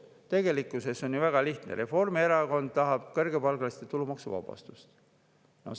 Tegelikkus on ju väga lihtne: Reformierakond tahab kõrgepalgaliste tulumaksu.